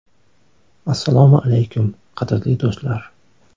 Assalomu alaykum, qadrli do‘stlar!